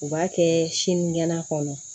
U b'a kɛ sinikɛnɛ kɔnɔ